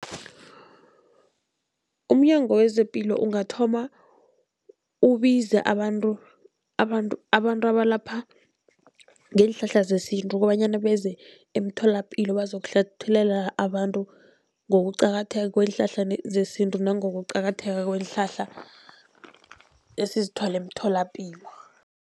UmNyango wezePilo ungathoma ubize abantu, abantu, abantu abalapha ngeenhlahla zesintu kobanyana beze emtholapilo bazokuhlathululela abantu ngokuqakatheka kweenhlahla zesintu nangokuqakatheka kweenhlahla esizithola emtholapilo.